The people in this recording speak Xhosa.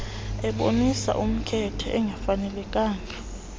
ebonisa umkhethe ongafanelekanga